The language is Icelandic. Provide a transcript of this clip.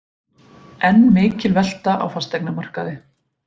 Enn mikil velta á fasteignamarkaði